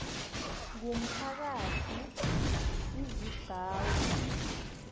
ngumphakathi izi gcawu